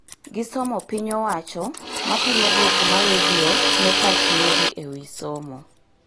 Gi somo piny owacho mapimo duoko ma redio ne pach nyiri e wi somo